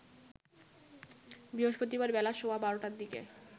বৃহস্পতিবার বেলা সোয়া ১২টার দিকে